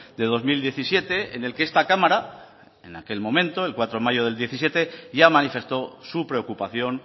del dos mil diecisiete en el que esta cámara en aquel momento el cuatro de mayo del dos mil diecisiete ya manifestó su preocupación